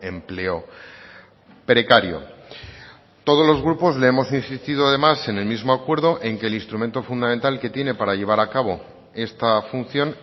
empleo precario todos los grupos le hemos insistido además en el mismo acuerdo en que el instrumento fundamental que tiene para llevar a cabo esta función